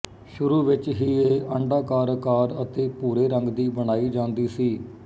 ਸ਼ੁਰੂ ਵਿੱਚ ਇਹ ਅੰਡਾਕਰ ਆਕਾਰ ਅਤੇ ਭੂਰੇ ਰੰਗ ਦੀ ਬਣਾਈ ਜਾਂਦੀ ਸੀ